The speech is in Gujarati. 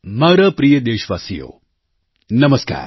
મારા પ્રિય દેશવાસીઓ નમસ્કાર